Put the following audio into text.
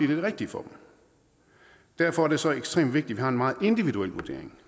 det rigtige for dem derfor er det så ekstremt vigtigt at vi har en meget individuel vurdering